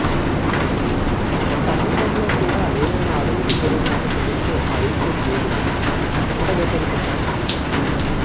మా ప్రభుత్వంలో కూడా ఏమైనా అవినీతి జరిగినట్లు తెలిస్తే సహించేది లేదు అంటూ కుండబద్దలు కొట్టాడు జగన్